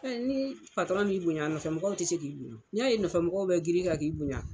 Ɛɛ ni m'i bonya ,a nɔfɛ mɔgɔw te se k'i bonya . N'i ya ye a nɔfɛ mɔgɔw be giri i kan k'i bonya